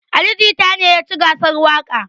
Ali jita ne yaci gasar waƙa